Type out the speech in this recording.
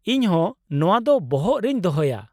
ᱤᱧ ᱦᱚᱸ ᱱᱚᱶᱟ ᱫᱚ ᱵᱚᱦᱚᱜ ᱨᱮᱧ ᱫᱚᱦᱚᱭᱟ ᱾